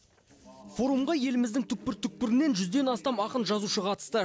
форумға еліміздің түкпір түкпірінен жүзден астам ақын жазушы қатысты